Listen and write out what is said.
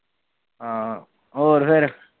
ਹੋਰ ਫਿਰ